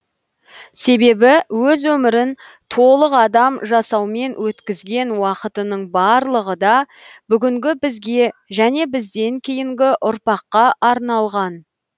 себебі өз өмірін толық адам жасаумен өткізген уақытының барлығы да бүгінгі бізге және бізден кейінгі ұрпаққа арналған